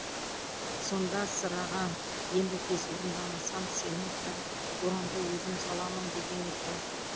сонда сырағаң енді тез орындамасаң сенің карикатураңды өзім саламын деген екен